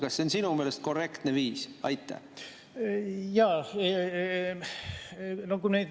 Kas see on sinu meelest korrektne viis?